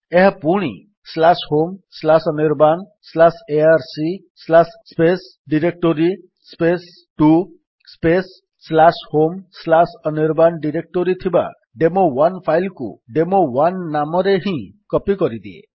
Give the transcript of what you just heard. ଏହା ପୁଣି homeanirbanarc directory to homeanirban ଡିରେକ୍ଟୋରୀରେ ଥିବା ଡେମୋ1 ଫାଇଲ୍ କୁ ଡେମୋ1 ନାମରେ ହିଁ କପୀ କରିଦିଏ